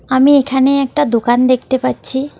আমি এখানে একটা দোকান দেখতে পাচ্ছি।